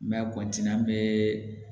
N bɛ an bɛ